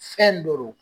Fɛn do